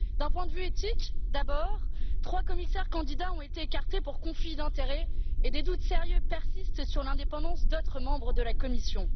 Du point de vue éthique tout d'abord, trois commissaires candidats ont été écartés pour conflit d'intérêts, et des doutes sérieux persistent sur l'indépendance d'autres membres de la Commission.